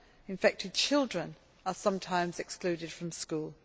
infected children are sometimes excluded from school.